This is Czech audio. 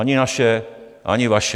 Ani naše, ani vaše.